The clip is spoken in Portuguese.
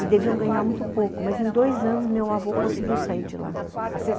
E deviam ganhar muito pouco, mas em dois anos meu avô conseguiu sair de lá.